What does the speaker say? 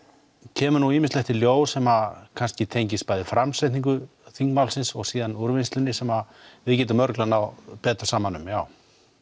kemur ýmislegt í ljós sem kannski tengist bæði framsetningu þingmálsins og úrvinnslunni sem við getum örugglega náð betur saman um já